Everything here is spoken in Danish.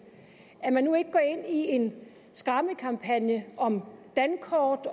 at man nu ikke går ind i en skræmmekampagne om dankort